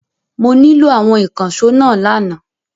Mo nílò àwọn ìkànṣó náà lánàá.